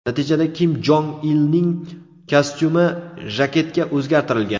Natijada Kim Jong Ilning kostyumi jaketga o‘zgartirilgan.